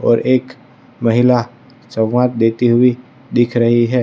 और एक महिला संवाद देती हुई दिख रही है।